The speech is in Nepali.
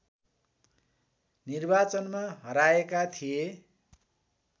निर्वाचनमा हराएका थिए